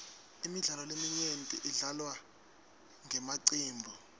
imidlalo leminyenti idlalwa ngemacembu